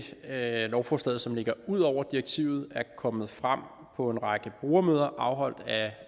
lovforslaget som ligger ud over direktivet er kommet frem på en række brugermøder afholdt